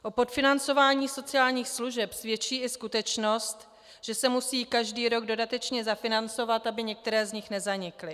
O podfinancování sociálních služeb svědčí i skutečnost, že se musí každý rok dodatečně zafinancovat, aby některé z nich nezanikly.